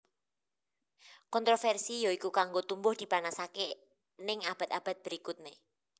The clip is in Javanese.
Kontroversi yoiku kanggo tumbuh dipanasake ning abad abad berikutne